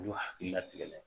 U k'u hakilila tigɛ